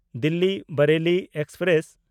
ᱫᱤᱞᱞᱤ–ᱵᱟᱨᱮᱞᱤ express